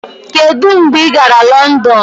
Kedu mgbe ị gara London?